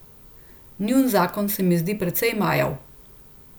Njun zakon se mi zdi precej majav.